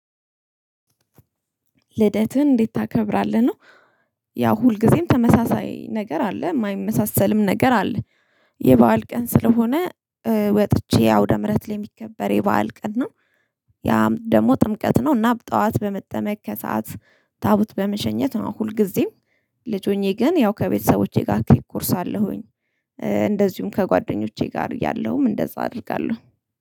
ልደትህን እንዴት ታከብራለህ ነው? ያው ሁልጊዜም ተመሳሳይ ነገር አለ የማይመሳሰልም ነገር አለ። የበአል ቀን ስለሆነ ወጥቼ አውደ ምህረት ላይ የሚከበር የበአል ቀን ነው። ያም ደግሞ ጥምቀት ነው እና በጠዋት በመጠመቅ ከሰአት ታቦት በመሸኘት ነው። ሁልጊዜም ልጅ ሆኜ ግን ያው ከቤተሰቦቼ ጋር ኬክ ቆርሳለሁኝ። እንደዚሁም ከጓደኞቼ ጋር እያለውም እንደዛ አደርጋለሁ